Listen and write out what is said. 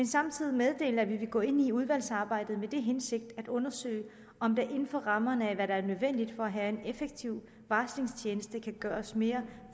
samtidig meddele at vi vil gå ind i udvalgsarbejdet med den hensigt at undersøge om der inden for rammerne af hvad der er nødvendigt for at have en effektiv varslingstjeneste kan gøres mere